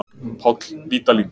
Páll Vídalín.